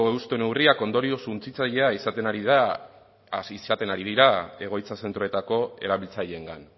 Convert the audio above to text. euste neurriak ondorio suntsitzailea izaten ari dira egoitza zentroetako erabiltzaileengan